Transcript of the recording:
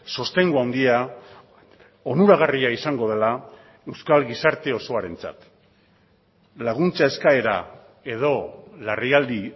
sostengu handia onuragarria izango dela euskal gizarte osoarentzat laguntza eskaera edo larrialdi